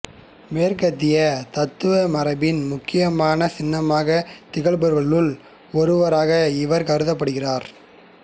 மேற்கத்திய தத்துவ மரபின் முக்கியமான சின்னமாகத் திகழ்பவர்களுள் ஒருவராக இவர் கருதப்படுகிறார்